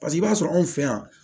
Paseke i b'a sɔrɔ anw fɛ yan